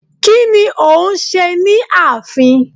Kí ni o hún ṣe ni ààfin